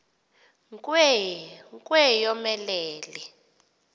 nkwe nkwe yomelele